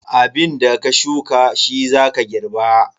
Abinda ka shuka shi za ka girba.